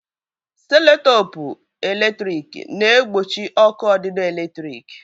Seloteepu p eletrik na-egbochi ọkụ ọdidọ eletrik.